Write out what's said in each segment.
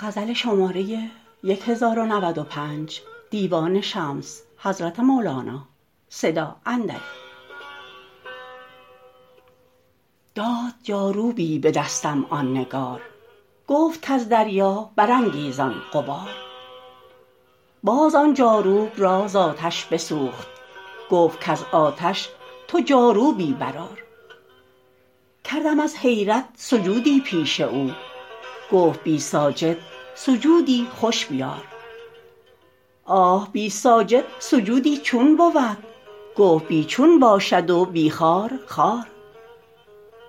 داد جاروبی به دستم آن نگار گفت کز دریا برانگیزان غبار باز آن جاروب را ز آتش بسوخت گفت کز آتش تو جاروبی برآر کردم از حیرت سجودی پیش او گفت بی ساجد سجودی خوش بیار آه بی ساجد سجودی چون بود گفت بی چون باشد و بی خارخار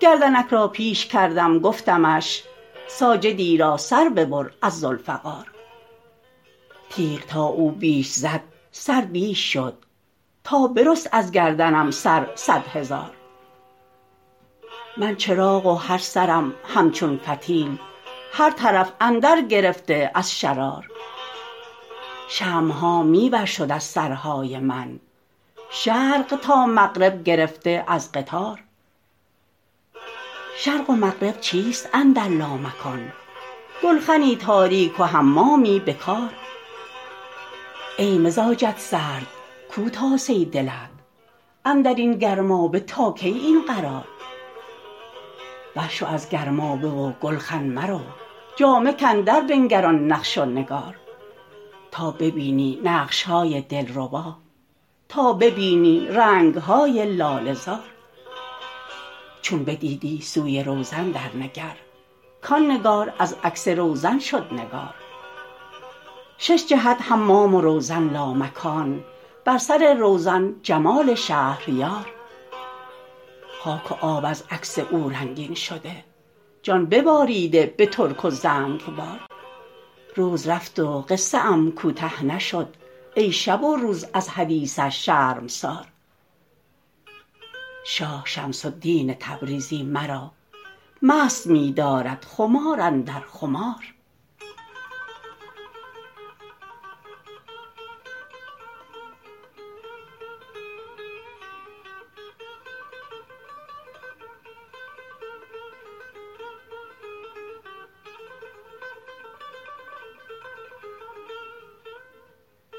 گردنک را پیش کردم گفتمش ساجدی را سر ببر از ذوالفقار تیغ تا او بیش زد سر بیش شد تا برست از گردنم سر صد هزار من چراغ و هر سرم همچون فتیل هر طرف اندر گرفته از شرار شمع ها می ورشد از سرهای من شرق تا مغرب گرفته از قطار شرق و مغرب چیست اندر لامکان گلخنی تاریک و حمامی به کار ای مزاجت سرد کو تاسه دلت اندر این گرمابه تا کی این قرار برشو از گرمابه و گلخن مرو جامه کن دربنگر آن نقش و نگار تا ببینی نقش های دلربا تا ببینی رنگ های لاله زار چون بدیدی سوی روزن درنگر کان نگار از عکس روزن شد نگار شش جهت حمام و روزن لامکان بر سر روزن جمال شهریار خاک و آب از عکس او رنگین شده جان بباریده به ترک و زنگبار روز رفت و قصه ام کوته نشد ای شب و روز از حدیثش شرمسار شاه شمس الدین تبریزی مرا مست می دارد خمار اندر خمار